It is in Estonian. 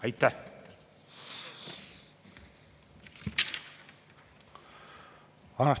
Aitäh!